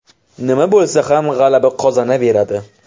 Nima bo‘lsa ham g‘alaba qozonaveradi.